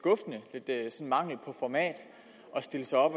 mangel på format at stille sig op